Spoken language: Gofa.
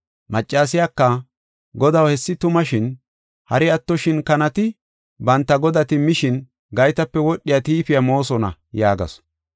Maccasiyaka, “Godaw, hessi tuma, shin hari attoshin kanati banta godati mishin, gaytape wodhiya tiifiya moosona” yaagasu.